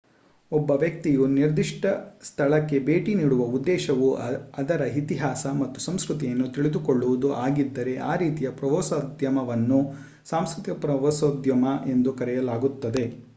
ಒಬ್ಬ ವ್ಯಕ್ತಿಯು ನಿರ್ದಿಷ್ಟ ಸ್ಥಳಕ್ಕೆ ಭೇಟಿ ನೀಡುವ ಉದ್ದೇಶವು ಅದರ ಇತಿಹಾಸ ಮತ್ತು ಸಂಸ್ಕೃತಿಯನ್ನು ತಿಳಿದುಕೊಳ್ಳುವುದು ಆಗಿದ್ದರೆ ಈ ರೀತಿಯ ಪ್ರವಾಸೋದ್ಯಮವನ್ನು ಸಾಂಸ್ಕೃತಿಕ ಪ್ರವಾಸೋದ್ಯಮ ಎಂದು ಕರೆಯಲಾಗುತ್ತದೆ